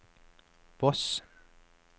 Voss